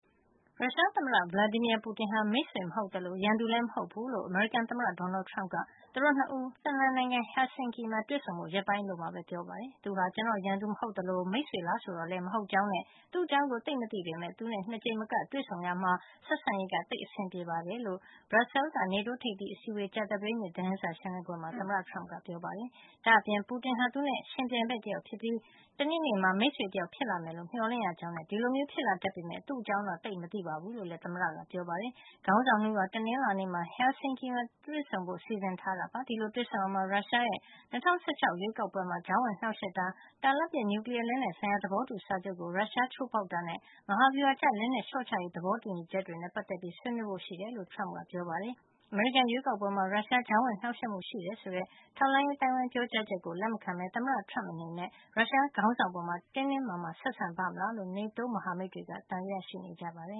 ရုရှားသမ္မတ Vladimir Putin ဟာ မိတ်ဆွေမဟုတ်သလို ရန်သူလည်း မဟုတ်ဖူးလို့ အမေရိကန်သမ္မတ Donald Trump က သူတို့ ၂ ဦး Finland နိုင်ငံ Helsinki မှာ တွေ့ဆုံဖို့ ရက်ပိုင်းအလိုမှာပဲ ပြောကြားလိုက်ပါတယ်။ သူဟာ ကျွန်တော့် ရန်သူမဟုတ်သလို မိတ်ဆွေလား ဆိုတော့လည်း မဟုတ်ကြောင်းနဲ့ သူ့အကြောင်းကို သိပ်မသိပေမယ့် သူနဲ့ ၂ ကြိမ်မက တွေ့ဆုံခဲ့ရာမှာ ဆက်ဆံရေး သိပ်အဆင်ပြေတယ်လို့ ဘရပ်ဆဲလ်က နေတိုးထိပ်သီးအစည်းဝေးရဲ့ ကြာသပတေးနေ့ သတင်စာ ရှင်းလင်းပွဲမှာ သမ္မတ Trump ကပြောပါတယ်။ ဒါ့အပြင် Putin ဟာ သူနဲ့ ယှဉ်ပြိုင်ဘက် တယောက်ဖြစ်ပြီး တနေ့နေ့မှာ မိတ်ဆွေ တယောက် ဖြစ်လာမယ်လို့ မျှော်လင့်ရကြောင်းနဲ့ ဒီလိုမျိုးဖြစ်လာ တတ်ပေမယ့် သူ့အကြောင်းတော့ သိပ်မသိဘူး လို့လည်း သမ္မတက ပြောပါတယ်။ ခေါင်းဆောင် ၂ ဦးဟာ တနင်္လာနေ့မှာ Helsinki မှာ တွေ့ဆုံဖို့ စီစဉ်ထားပါတယ်။ ဒီလိုတွေ့ဆုံရာမှာ ရုရှားရဲ့ ၂၀၁၆ ရွေးကောက်ပွဲမှာ ကြားဝင် နှောက်ယှက်တာ၊ တာလတ်ပစ် နျူကလီယားလက်နက်ဆိုင်ရာ သဘောတူ စာချုပ်ကို ရုရှားက ချိုးဖေါက်တာနဲ့ မဟာဗျူဟာကျ လက်နက် လျှော့ချရေး သဘောတူညီချက်တွေနဲ့ ပတ်သက်ပြီး ဆွေးနွေးဖို့ ရှိကြောင်း သမ္မတ Trump ကပြောပါတယ်။ အမေရိကန် ရွေးကောက်ပွဲမှာ ရုရှားရဲ့ ကြားဝင်နှောက်ယှက်မှု ရှိတယ်ဆိုတဲ့ ထောက်လှန်းရေး အသိုင်းဝိုင်းရဲ့ ပြောကြားချက်ကို လက်မခံတဲ့ သမ္မတ Trump အနေနဲ့ ရုရှားခေါင်းဆောင် အပေါ် တင်းတင်းမာမာ ဆက်ဆံပါ့မလားလို့ NATO မဟာမိတ်တွေကတော့ သံသယ ရှိနေကြပါတယ